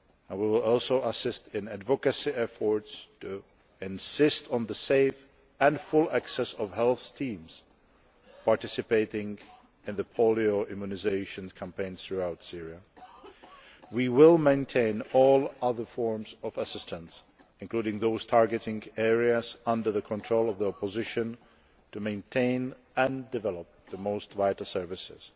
We will also assist in advocacy efforts to insist on safe and full access for health teams participating in the polio immunisation campaign throughout Syria. We will maintain all other forms of assistance, including those targeting areas under the control of the opposition, in order to maintain and develop the most vital services.